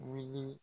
Wuli